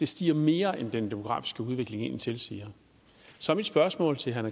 stiger mere end den demografiske udvikling egentlig tilsiger så mit spørgsmål til herre